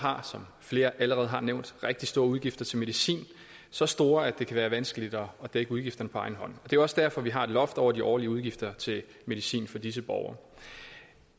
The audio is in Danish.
har som flere allerede har nævnt rigtig store udgifter til medicin så store at det kan være vanskeligt at dække udgifterne på egen hånd og det også derfor vi har et loft over de årlige udgifter til medicin for disse borgere